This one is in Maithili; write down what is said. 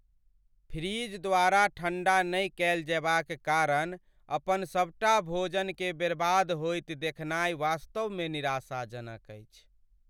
फ्रिज द्वारा ठण्डा नहि कएल जएबाक कारण अपन सबटा भोजनकेँ बर्बाद होइत देखनाइ वास्तवमे निराशाजनक अछि।